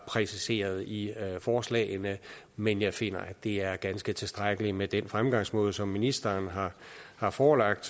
præciseret i forslagene men jeg finder det er ganske tilstrækkeligt med den fremgangsmåde som ministeren har har forelagt